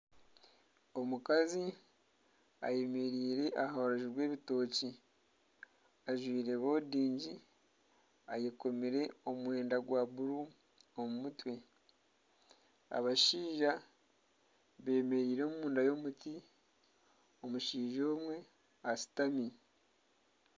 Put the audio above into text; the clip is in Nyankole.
Omukazi ayemereire aha rubaju rw'ebitokye ajwire bodingi, ayekomire omwenda gwa buru omu mutwe. Abashaija bemereire omunda y'omuti. Omushaija omwe ashutami.